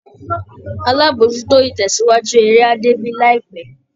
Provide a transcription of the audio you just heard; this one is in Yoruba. Alábòójútó-ìtẹ̀síwájú eré á débí láìpẹ́